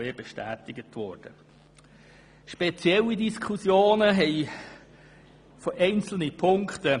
Einzelne Punkte haben spezielle Diskussionen ausgelöst.